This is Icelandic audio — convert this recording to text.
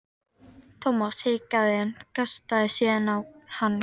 Thomas hikaði en kastaði síðan á hann kveðju.